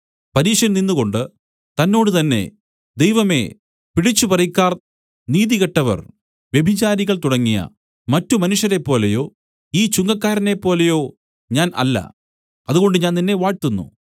പരീശൻ നിന്നുകൊണ്ടു തന്നോട് തന്നെ ദൈവമേ പിടിച്ചുപറിക്കാർ നീതികെട്ടവർ വ്യഭിചാരികൾ തുടങ്ങിയ മറ്റ് മനുഷ്യരെപ്പോലെയോ ഈ ചുങ്കക്കാരനെപ്പോലെയോ ഞാൻ അല്ല അതുകൊണ്ട് ഞാൻ നിന്നെ വാഴ്ത്തുന്നു